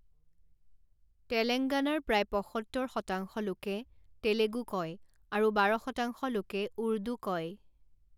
তেলাঙ্গানাৰ প্ৰায় পঁসত্তৰ শতাংশ লোকে তেলেগু কয় আৰু বাৰ শতাংশ লোকে উৰ্দু কয়।